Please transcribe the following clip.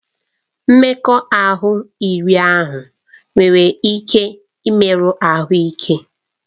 Mmekọahụ iri ahụ nwere ike imerụ ahụ ike.